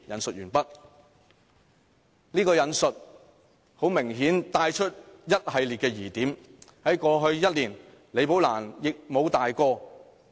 "這段引述明顯帶出一系列疑點，而在過去1年，李寶蘭亦無大過。